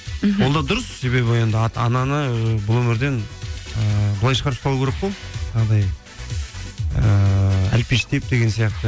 мхм ол да дұрыс себебі енді ананы бұл өмірден ыыы былай шығарып салу керек қой жаңағыдай ыыы әлпештеп деген сияқты